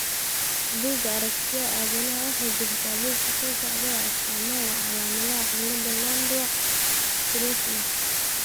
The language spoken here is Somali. Bugga Aragtiyaha Aadanaha waxay bixisaa liiska soo socda ee astaamaha iyo calaamadaha cillada Landau Kleffnerka.